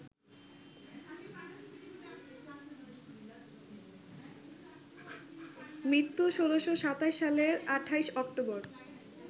মৃত্যু ১৬২৭ সালের ২৮ অক্টোবর